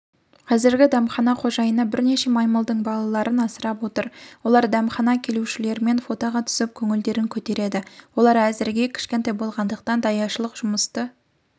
қазір дәмхана қожайыны бірнеше маймылдың балаларын асырап отыр олар дәмхана келушілерімен фотоға түсіп көңілдерін көтереді олар әзірге кішкентай болғандықтан даяшылық жұмысты